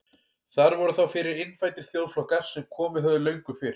Þar voru þá fyrir innfæddir þjóðflokkar sem komið höfðu löngu fyrr.